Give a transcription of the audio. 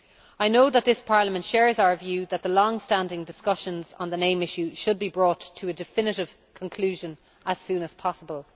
I know this Parliament shares our view that the long standing discussions on the name issue should be brought to a definitive conclusion as soon as possible.